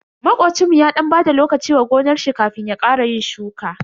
Makocinmu ya dan bada lokaci wa gonar shi kafin ya ƙara yin shuka.